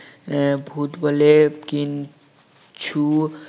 আহ ভূত বলে কিছু